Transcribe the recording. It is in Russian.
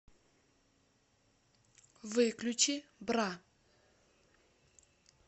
выключи бра